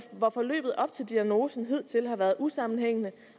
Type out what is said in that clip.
hvor forløbet op til diagnosen hidtil har været usammenhængende